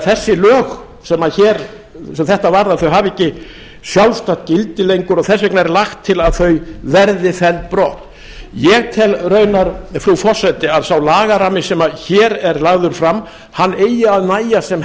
þessi lög sem þetta varða hafa því ekki sjálfstætt gildi lengur og þess vegna er lagt til að þau verði felld brott ég tel raunar frú forseti að sá lagarammi sem hér er lagður fram eigi að nægja sem